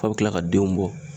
F'a bɛ tila ka denw bɔ